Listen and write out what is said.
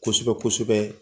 Kosɛbɛ kosɛbɛ